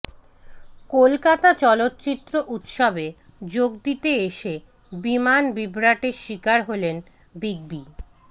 কলকাতা চলচ্চিত্র উত্সবে যোগ দিতে এসে বিমান বিভ্রাটের শিকার হলেন বিগ বি